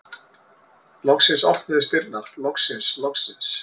Loksins opnuðust dyrnar, loksins, loksins!